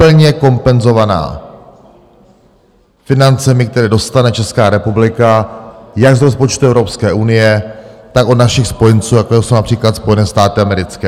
Plně kompenzovaná financemi, které dostane Česká republika jak z rozpočtu Evropské unie, tak od našich spojenců, jako jsou například Spojené státy americké.